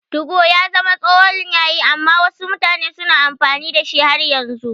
2go ya zama tsohon yayi amma wasu mutane suna amfani da shi har yanzu.